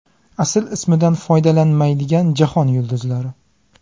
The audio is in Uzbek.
Asl ismidan foydalanmaydigan jahon yulduzlari.